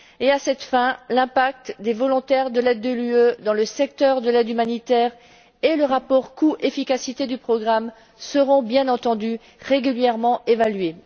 À cette fin, l'impact des volontaires de l'aide de l'UE dans le secteur de l'aide humanitaire et le rapport coût efficacité du programme seront bien entendu régulièrement évalués.